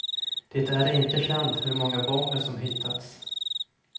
Det är inte känt hur många bomber som hittats.